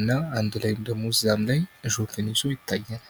እና አንድ ላይም ደግሞ እሾህን ይዞ ይታያል።